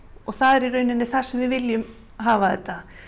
það er í rauninni það sem við viljum hafa þetta